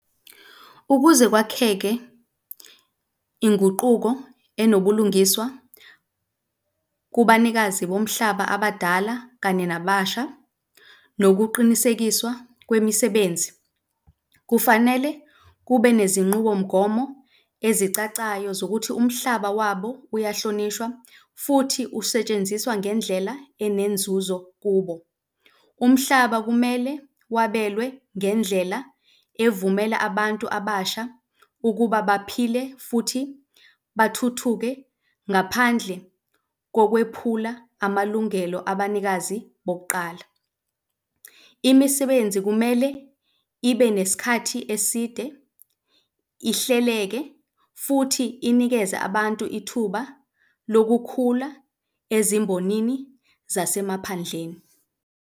Ukuze kwakheke inguquko enobulungiswa kubanikazi bomhlaba abadala kanye nababasha nokuqinisekiswa kwemisebenzi. Kufanele kube nezinqubomgomo ezicacayo zokuthi umhlaba wabo uyahlonishwa futhi usetshenziswa ngendlela enenzuzo kubo. Umhlaba kumele wabelwe ngendlela evumela abantu abasha ukuba baphile futhi bathuthuke ngaphandle kokwephula amalungelo abanikazi bokuqala. Imisebenzi kumele ibe nesikhathi eside, ihleleke futhi inikeze abantu ithuba lokukhula ezimbonini zasemaphandleni.